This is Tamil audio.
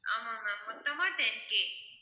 ஆமாம் ma'am மொத்தமா ten K